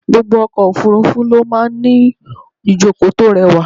Gbogbo ọkọ̀ òfúrúfú ló máa ń ní ìjókòó tó rẹwà.